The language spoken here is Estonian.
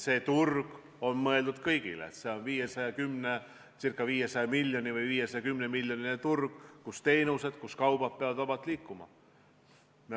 See turg on mõeldud kõigile, see on 510 miljoni inimese suurune turg, kus teenused ja kaubad peavad vabalt liikuma.